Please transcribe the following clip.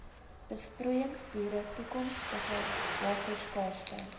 besproeiingsboere toekomstige waterskaarste